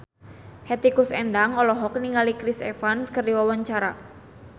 Hetty Koes Endang olohok ningali Chris Evans keur diwawancara